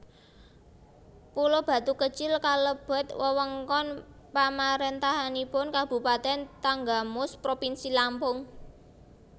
Pulo Batu Kecil kalebet wewengkon pamarentahanipun kabupatèn Tanggamus propinsi Lampung